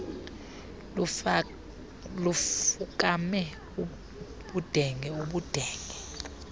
lufukame ubudenge ubudenge